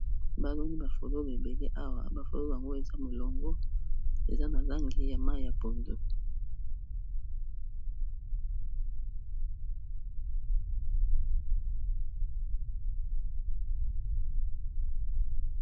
Baloni ba fololo ebele awa, ba fololo yango eza molongo eza na langi ya mayi ya pondo.